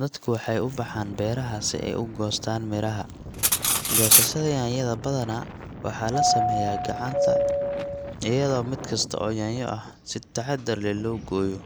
dadku waxay u baxaan beeraha si ay u goostaan miraha. Goosashada yaanyada badanaa waxaa la sameeyaa gacanta, iyadoo mid kasta oo yaanyo ah si taxaddar leh loo gooyo